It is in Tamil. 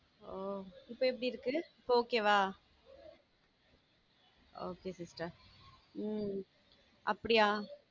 ஆஹ் இப்ப எப்படி இருக்கு? இப்போ okay வா? okay sister உம் அப்படியா?